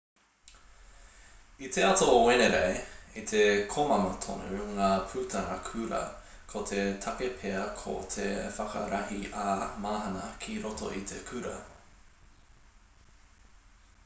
i te ata o te wenerei i te komama tonu ngā putanga kura ko te take pea ko te whakarahi ā-mahana ki roto i te kura